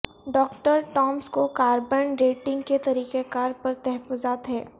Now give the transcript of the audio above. doctor Thomas کو carbon dating کے طریقہ کار پر تحفظات ہیں